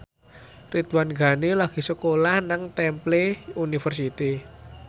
Ridwan Ghani lagi sekolah nang Temple University